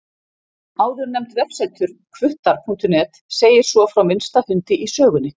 Áðurnefnt vefsetur, hvuttar.net, segir svo frá minnsta hundi í sögunni.